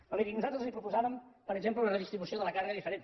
però miri nosaltres els proposàvem per exemple una redistribució de la càrrega diferent